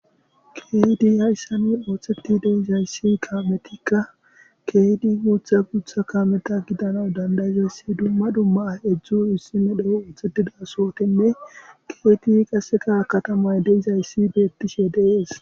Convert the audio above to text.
keydi hayssa nu ooththeti deizayssi kaametikka keyti muutha guutha kameta gidana dandayzayssi dumma dumma edzdzu issime dhe7u ooththetida sootenne keeti qaseka katamay deizayssi beettishe dees